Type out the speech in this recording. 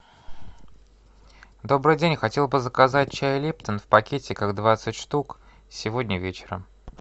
добрый день хотел бы заказать чай липтон в пакетиках двадцать штук сегодня вечером